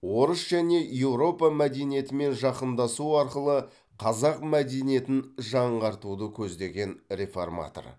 орыс және еуропа мәдениетімен жақындасу арқылы қазақ мәдениетін жаңартуды көздеген реформатор